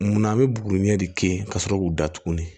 Munna an bɛ buguruni ɲɛ de k'a sɔrɔ k'u da tuguni